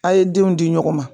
A' ye denw di ɲɔgɔn ma